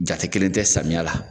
Jate kelen tɛ samiya la.